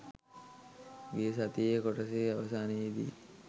ගිය සතියේ කොටසේ අවසානයේදී